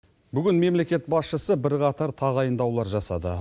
бүгін мемлекет басшысы бірқатар тағайындаулар жасады